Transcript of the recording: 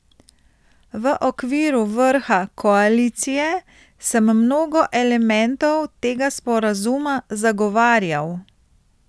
V okviru vrha koalicije sem mnogo elementov tega sporazuma zagovarjal.